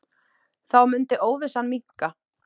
Þá mundi óvissan minnka.